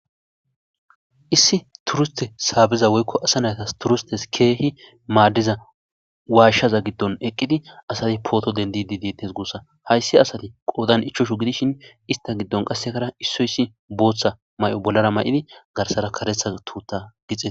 issi turiste saabeza woykko asa nayatas turistes keehi maaddiza waashshaza giddon eqqidi asati pooto dendi didiittes guussa hayssi asati qoodan ichchoshu gidishin ista giddon qassekara issoyssi booththa may7o bollara may7idi garsara karetha tuutta gixe